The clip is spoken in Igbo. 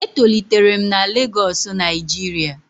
E tolitere'm na Lagosu Nijiria